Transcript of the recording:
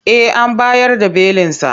Eh an bayar da belinsa.